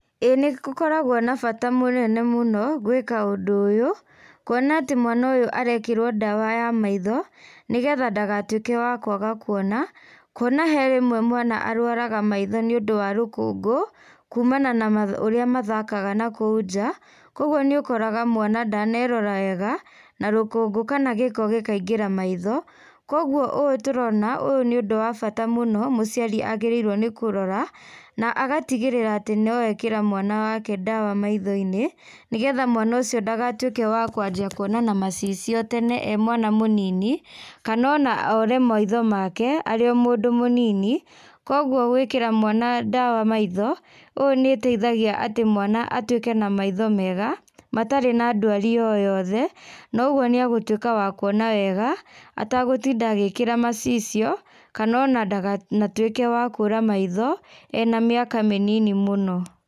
Gũkoragwo na bata mũnene mũno gwĩka undũ ũyũ kũona atĩ mwana ũyũ arekĩrwo ndawa ya maitho nĩgetha ndagatuĩke wa kwaga kuona. Kuona harĩ rĩmwe mwana arwaraga maitho nĩundũ wa rũkũngũ, kumana na ũrĩa mathakaga na kou nja. Koguo nĩũkoraga mwana ndanerora wega, na rũkũngũ kana gĩko gĩkaingĩra maitho. Koguo ũyũ tũrona, ũyũ nĩ ũndũ wa bata mũno, mũciari agerĩirwo nĩ kũrora na agatigĩrĩra atĩ nĩekĩra mwana wake ndawa maitho-inĩ, nĩgetha mwana ũcio ndagatuĩke wa kwajia kũona na macicio tene e mwana mũnini, kana ona ũre maitho make arĩ o mũndũ mũnini. Koguo wekĩra mwana ndawa maitho, ũyũ nĩũteithagia atĩ mwana atwĩke na maitho mega matarĩ na ndwari o yothe, noguo nĩ agũtuĩka wa kũona wega, ategũtinda agĩkĩra macicio, kana ona ndagatwĩke wa kũra maitho ,ena mĩaka mĩnini mũno.